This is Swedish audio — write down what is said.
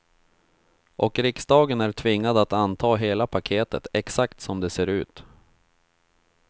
Och riksdagen är tvingad att anta hela paketet, exakt som det ser ut.